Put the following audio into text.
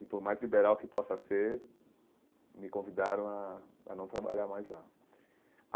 E, por mais liberal que possa ser, me convidaram a a não trabalhar mais lá.